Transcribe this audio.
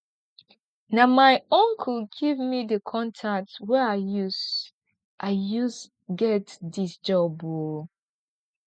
na my uncle give me di contact wey i use i use get dis job o